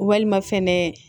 Walima fɛnɛ